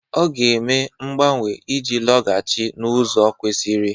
Ọ ga-eme mgbanwe iji laghachi n'ụzọ kwesiri.